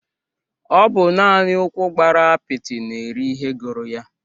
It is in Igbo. Ọ bụ naani ụkwụ gbara apiti na-eri ihe gụrụ ya.